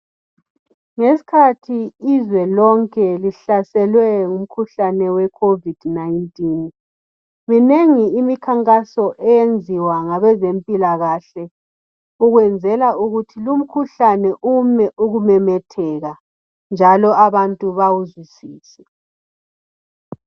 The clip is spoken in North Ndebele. Ngeskhathi izwe lonke lihlaselwe ngumkhuhlane we covid 19, minengi imikhankaso eyenziwa ngabezempila kahle ukwenzela ukuthi lumkhuhlane ume ukumemetheka njalo abantu bawuzwisise.